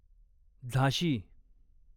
झाशी